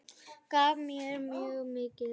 Gaf mér mjög mikið.